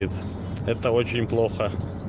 это это очень плохо